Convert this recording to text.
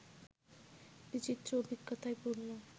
বিচিত্র অভিজ্ঞতায় পূর্ণ